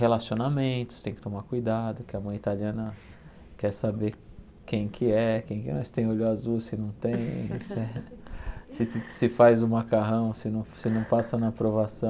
Relacionamentos, tem que tomar cuidado, que a mãe italiana quer saber quem que é, se tem olho azul, se não tem, se se se faz o macarrão, se não passa na provação.